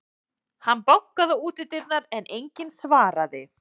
Hann bankaði á útidyrnar, en enginn svaraði.